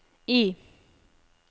I